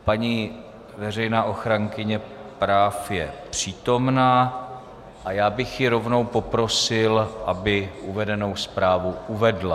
Paní veřejná ochránkyně práv je přítomna a já bych ji rovnou poprosil, aby uvedenou zprávu uvedla.